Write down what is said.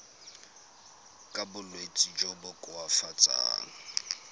ka bolwetsi jo bo koafatsang